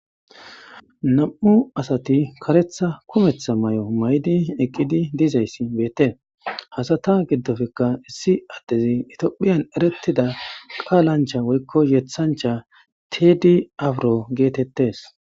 Nam'u asati karetta kumetta mayo ma'idi eqqidi dizayssi beettees. Ha sata giddoppekka issi addezi itiophiyan erettida qaalancha woykko yettanichcha tedi afiro geetettes.